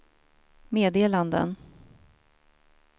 meddelanden